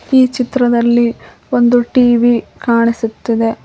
ಈ ಚಿತ್ರದಲ್ಲಿ ಒಂದು ಟಿ_ವಿ ಕಾಣಿಸುತ್ತಿದೆ.